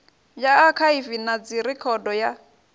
ya akhaivi na dzirekhodo ya